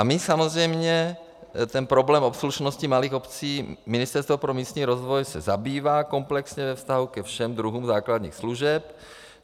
A my samozřejmě ten problém obslužnosti malých obcí, Ministerstvo pro místní rozvoj se zabývá komplexně ve vztahu ke všem druhům základních služeb.